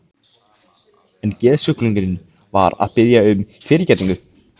En geðsjúklingurinn var að biðja um fyrirgefningu.